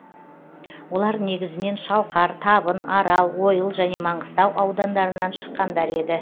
олар негізінен шалқар табын арал ойыл және маңғыстау аудандарынан шыққандар еді